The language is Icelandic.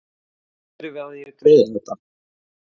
Hvernig förum við að því að greiða þetta?